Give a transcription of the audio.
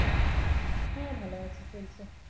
হ্যাঁ ভালো আছি চলছে।